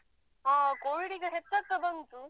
ಹ covid ಈಗ ಹೆಚ್ಚಾಗ್ತಾ ಬಂತು.